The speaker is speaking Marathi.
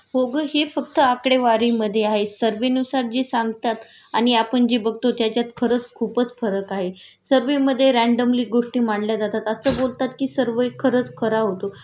हो ग हे फक्त आकडेवारीमधे आहेसर्वेनुसार जे सांगतात आणि आपण जे बघतो त्याच्यात खरंच खूपच फरक आहे.सर्व्हेमध्ये रॅन्डमली गोष्टी मांडल्या जातात.असं बोलतात कि सर्वे खरंच खरा होतो